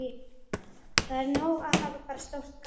Það er ekki nóg að hafa bara stórt gat